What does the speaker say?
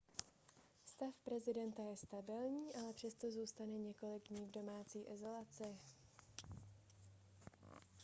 stav prezidenta je stabilní ale přesto zůstane několik dní v domácí izolaci